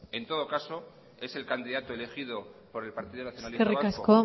en todo caso es el candidato elegido por el partido nacionalista vasco